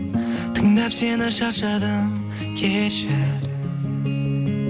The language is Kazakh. тыңдап сені шаршадым кешір